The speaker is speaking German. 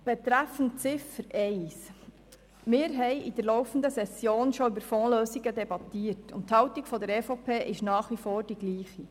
Zu Ziffer 1: Wir haben in der laufenden Session schon über Fondslösungen debattiert, und die Haltung der EVP ist nach wie vor dieselbe.